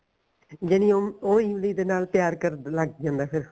ਜਾਨੀ ਹੁਣ ਉਹ ਇਮਲੀ ਦੇ ਨਾਲ ਪਿਆਰ ਕਰਨ ਲੱਗ ਜਾਂਦਾ ਐ ਫੇਰ